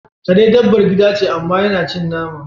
Kare dabbar gida ce, amma yana cin nama.